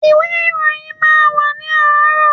Ìwé ìròyìn máa wà ní àárọ̀.